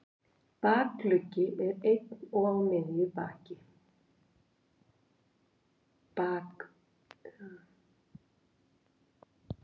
Bakuggi er einn og á miðju baki.